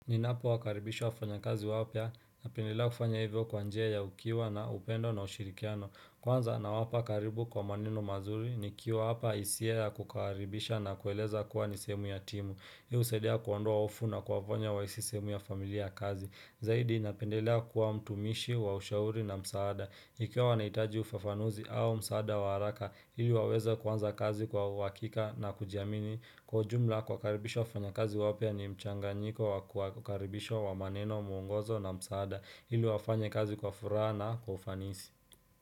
Ninapo wakaribisha wafanya kazi wapya, napendelea kufanya hivyo kwa njia ya ukiwa na upendo na ushirikiano. Kwanza na wapa karibu kwa maneno mazuri ni kiwapa hisia ya kukaribisha na kueleza kuwa nisehemu ya timu. Hiu husaidia kuondoa hofu na kuwafanya wa hisi sehemu ya familia ya kazi. Zaidi napendelea kuwa mtumishi, wa ushauri na msaada. Ikiwa wanaitaji ufafanuzi au msaada wa haraka, ili waweza kuanza kazi kwa uhakika na kujiamini. Kwa ujumla kuwa karibisha wafanya kazi wapya ni mchanga nyiko wa kuwa karibisha wa maneno muongozo na msaada ili wafanye kazi kwa furaha na kwa ufanisi.